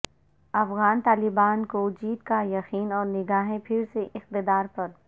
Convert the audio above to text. افغان طالبان کو جیت کا یقین اور نگاہیں پھر سے اقتدار پر